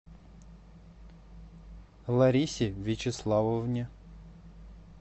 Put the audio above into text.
ларисе вячеславовне